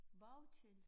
Bounty